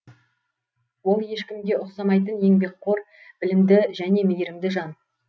ол ешкімге ұқсамайтын еңбекқор білімді және мейірімді жан